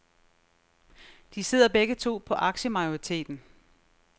De sidder begge to på aktiemajoriteten.